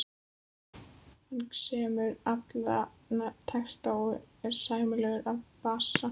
Hann semur alla texta og er sæmilegur á bassa.